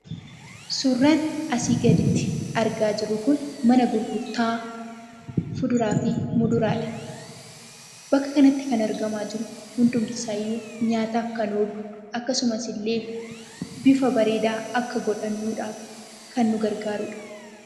Suuraan asii gaditti argaa jirru kun mana gurgurtaa fuduraa fi muduraadha. Bakka kanatti kan argamaa jiru hundumtisaayyuu nyaataaf kan oolu akkasumasillee bifa bareedaa akka godhannuudhaaf kan nu gargaarudha.